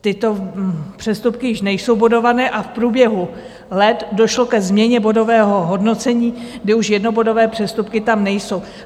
Tyto přestupky již nejsou bodované a v průběhu let došlo ke změně bodového hodnocení, kdy už jednobodové přestupky tam nejsou.